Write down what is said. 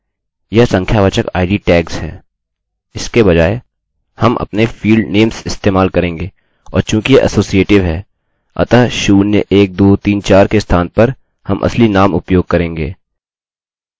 यह संख्यावाचक आईडीnumeric idटैग्सtagsहैं इसके बजाय हम अपने fieldnames इस्तेमाल करेंगेऔर चूँकि यह असोसीएटिव है